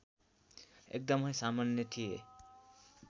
एकदमै सामान्य थिए